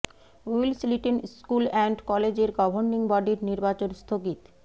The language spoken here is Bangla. উইলস লিটল স্কুল অ্যান্ড কলেজের গভর্নিং বডির নির্বাচন স্থগিত